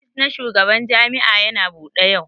Ofis na shugaban jami'a Yana Bude yau.